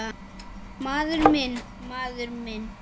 Maður minn, maður minn.